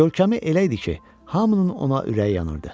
Görkəmi elə idi ki, hamının ona ürəyi yanırdı.